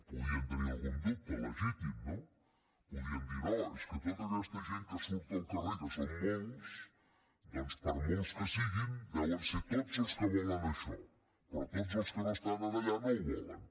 podien tenir algun dubte legítim no podien dir no és que tota aquesta gent que surt al carrer que són molts doncs per molts que siguin deuen ser tots els que volen això però tots els que estan allà no ho volen